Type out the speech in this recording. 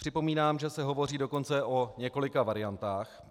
Připomínám, že se hovoří dokonce o několika variantách.